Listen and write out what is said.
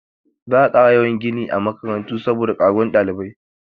Za a ƙara yawan gini a makarantu saboda ƙaruwan ɗalibai.